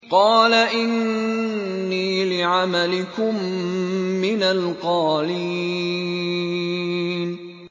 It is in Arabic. قَالَ إِنِّي لِعَمَلِكُم مِّنَ الْقَالِينَ